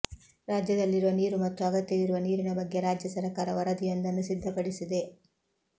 ರಾಜ್ಯದಲ್ಲಿರುವ ನೀರು ಮತ್ತು ಅಗತ್ಯವಿರುವ ನೀರಿನ ಬಗ್ಗೆ ರಾಜ್ಯ ಸರಕಾರ ವರದಿಯೊಂದನ್ನು ಸಿದ್ಧಪಡಿಸಿದೆ